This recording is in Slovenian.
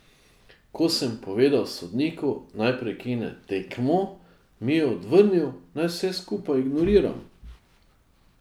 Ko sem povedal sodniku, naj prekine tekmo, mi je odvrnil, naj vse skupaj ignoriram.